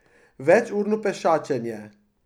Večurno pešačenje.